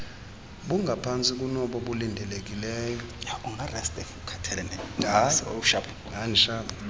bungaphantsi kunobo bulindelekileyo